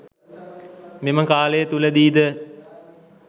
මෙම කාලය තුළදී ද